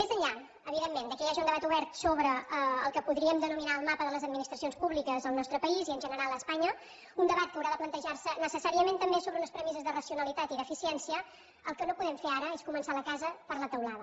més enllà evidentment que hi hagi un debat obert sobre el que podríem denominar el mapa de les administracions públiques al nostre país i en general a espanya un debat que haurà de plantejar se necessàriament també sobre unes premisses de racionalitat i d’eficiència el que no podem fer ara és començar la casa per la teulada